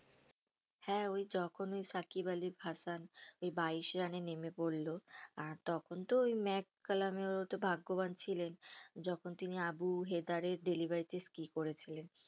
হ্যাঁ যখন ওই সাকিব আলী হাসান ওই বাইশ রানে নেমে পড়লো আর তখন তো ওই ম্যাক কালাম ওতো ভাগ্যবান ছিলেন যখন তিনি আবু হেতারের করেছিলেন